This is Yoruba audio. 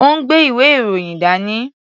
Ó ń gbé ìwé-ìròyìn dání.